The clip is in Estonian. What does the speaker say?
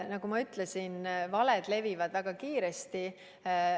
Nagu ma ütlesin, valed levivad väga kiiresti.